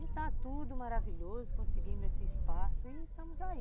E está tudo maravilhoso, conseguimos esse espaço e estamos aí.